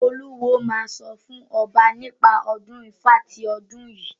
Olúwo máa sọ fún ọba nípa ọdún Ifá ti ọdún yìí.